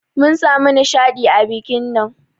Mun samu nishadi a bikin nan.